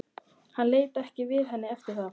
Hann leit ekki við henni eftir það.